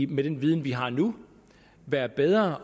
med den viden vi har nu være bedre